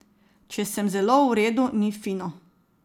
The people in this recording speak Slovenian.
Če sem zelo v redu, ni fino.